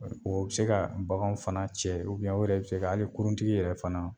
Bɔ o bɛ se ka baganw fana cɛ o yɛrɛ bɛ se ka hali kuruntigi yɛrɛ fana